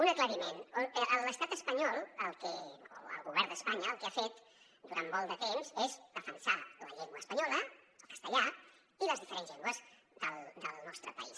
un aclariment l’estat espanyol o el govern d’espanya el que ha fet durant molt de temps és defensar la llengua espanyola el castellà i les diferents llengües del nostre país